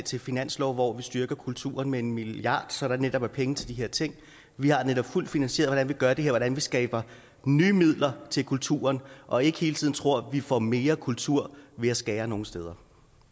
til finanslov hvori vi styrker kulturen med en milliard kr så der netop er penge til de her ting vi har netop fuldt finansieret hvordan vi gør det og hvordan vi skaber nye midler til kulturen og ikke hele tiden tror at vi får mere kultur ved at skære nogle steder